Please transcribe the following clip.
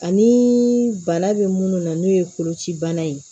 Ani bana bɛ munnu na n'o ye koloci bana ye